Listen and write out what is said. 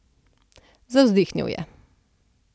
Zavzdihnil je.